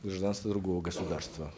гражданства другого государства